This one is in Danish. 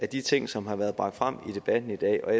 de ting som har været bragt frem i debatten i dag og